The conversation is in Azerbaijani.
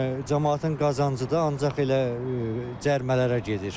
Deməli, camaatın qazancıdır, ancaq elə cərimələrə gedir.